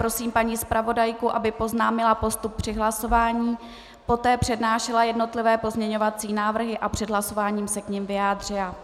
Prosím paní zpravodajku, aby oznámila postup při hlasování, poté přednášela jednotlivé pozměňovací návrhy a před hlasováním se k nim vyjádřila.